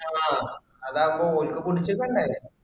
ആഹ് അതാവുമ്പോ കുടിച്ചിട്ടുണ്ടേ.